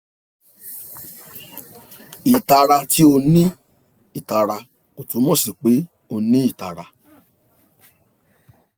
itara ti o ni itara ko tumọ si pe o ni itara